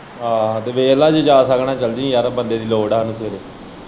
ਆਹ ਵੇਖ ਲੈ ਜੇ ਜਾ ਸਕਣਾ ਚੱਲ ਜੀ ਯਾਰ ਬੰਦੇ ਦੀ ਲੋੜ ਏ ਹਾਨੂੰ ਸਵੇਰੇ।